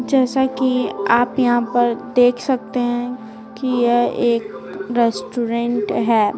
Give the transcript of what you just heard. जैसा कि आप यहां पर देख सकते हैं कि यह एक रेस्टोरेंट है।